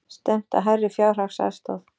Stefnt að hærri fjárhagsaðstoð